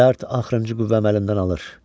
Dərd axırıncı qüvvəmi əlimdən alır.